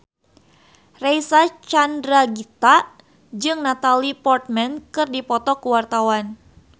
Reysa Chandragitta jeung Natalie Portman keur dipoto ku wartawan